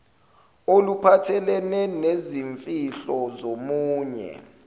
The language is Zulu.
oluphathelene nezimfihlo zomunye